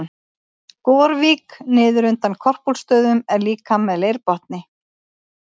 Gorvík niður undan Korpúlfsstöðum er líka með leirbotni.